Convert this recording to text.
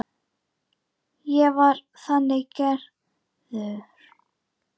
Ég væri þannig gerður.